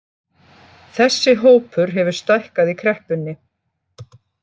Þessi hópur hefur stækkað í kreppunni